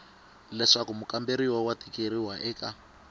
leswaku mukamberiwa wa tikeriwa eka